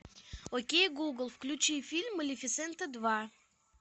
окей гугл включи фильм малефисента два